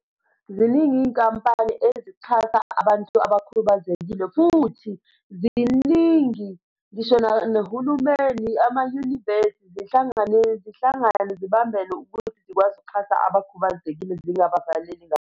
Ziningi iy'nkampani ezithatha abantu abakhubazekile. Futhi ziningi ngisho nohulumeni, amayunivesi zihlangane, zihlangane zibambene ukuze zikwazi ukuxhasa abakhubazekile zingabavaleli .